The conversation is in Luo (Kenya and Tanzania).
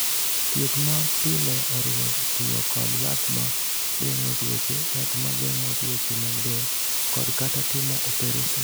"Thieth ma pile oriwo tiyo kod yath ma geng’o tuoche, yath ma geng’o tuoche mag del, kod/kata timo opereson."